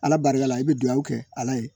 Ala barika la i bɛ duwawu kɛ ala ye